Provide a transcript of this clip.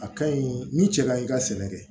A ka ɲi ni cɛ kaɲi ka sɛnɛ kɛ